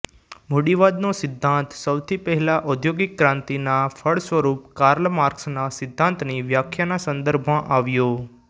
મૂડીવાદનો સિદ્દાંત સૌથી પહેલાં ઔદ્યોગિક ક્રાંતિ ના ફળસ્વરૂપ કાર્લ માર્ક્સ ના સિદ્ધાંતની વ્યાખ્યાના સંદર્ભમાં આવ્યો